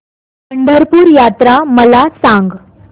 पंढरपूर यात्रा मला सांग